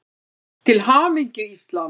Til hamingju Ísland.